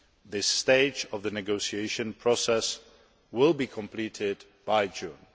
This stage of the negotiation process will be completed by June